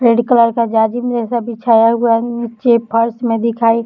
red colour का जाजिम जैसा बिछाया हुआ नीचे फर्श में दिखाई --